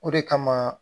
O de kama